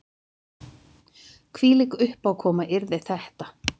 Hvílík uppákoma yrði þetta